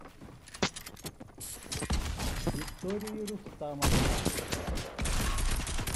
виктории рустамовне